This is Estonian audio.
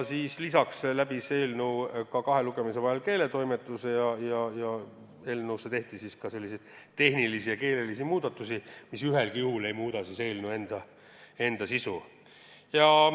Lisaks läbis eelnõu kahe lugemise vahel keeletoimetamise ning sellesse tehti tehnilisi ja keelelisi muudatusi, mis ühelgi juhul eelnõu sisu ei muuda.